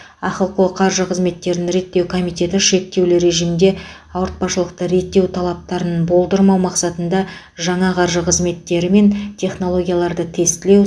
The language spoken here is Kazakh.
ахқо қаржы қызметтерін реттеу комитеті шектеулі режимде ауыртпашылықты реттеу талаптарын болдырмау мақсатында жаңа қаржы қызметтері мен технологияларды тестілеу